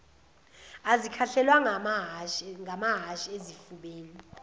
azikhahlelwanga ngamahhashi ezifubeni